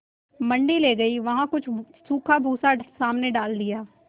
मंडी ले गये वहाँ कुछ सूखा भूसा सामने डाल दिया